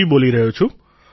હરી બોલી રહ્યો છું